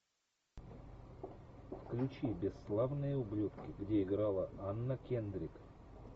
включи бесславные ублюдки где играла анна кендрик